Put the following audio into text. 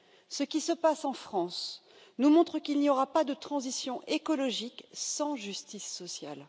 Ce qui se passe en France nous montre qu'il n'y aura pas de transition écologique sans justice sociale.